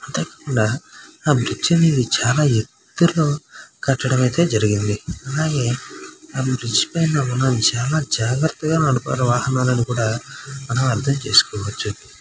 అందకుండా ఆ బ్రిడ్జ్ ని అయితే చాలా ఎత్తులో కట్టడం అయితే జరిగింది అలాగే బ్రిడ్జి పైన ఉన్నవారు చాలా జాగ్రత్తగా నడపాలని వాహనాల నని కూడా మనం అర్థం చేసుకోవచ్చు.